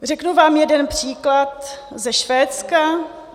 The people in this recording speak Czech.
Řeknu vám jeden příklad ze Švédska.